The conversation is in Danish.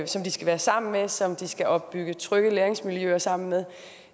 som de skal være sammen med og som de skal opbygge trygge læringsmiljøer sammen med